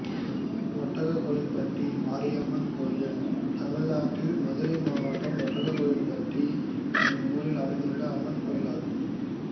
ஒட்டக்கோயில்பட்டி மாரியம்மன் கோயில் தமிழ்நாட்டில் மதுரை மாவட்டம் ஒட்டக்கோயில்பட்டி என்னும் ஊரில் அமைந்துள்ள அம்மன் கோயிலாகும்